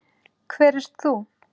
Hver ert þú?